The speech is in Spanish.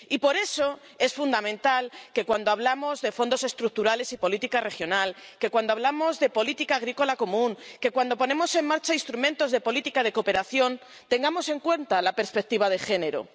Y por eso, es fundamental que cuando hablamos de fondos estructurales y política regional, que cuando hablamos de política agrícola común, que cuando ponemos en marcha instrumentos de política de cooperación, tengamos en cuenta la perspectiva de género.